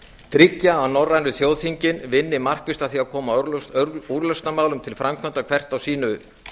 tryggja að norrænu þjóðþingin vinni markvisst að því að koma úrlausnarmálum til framkvæmda hvert á sínu